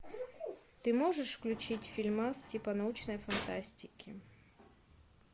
ты можешь включить фильмас типа научной фантастики